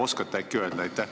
Oskate äkki öelda?